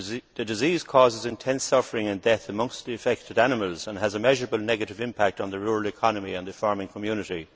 The disease causes intense suffering and death amongst the affected animals and has a measurable negative impact on the rural economy and the farming community.